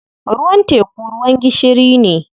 Ruwan teku ruwan gishiri ne.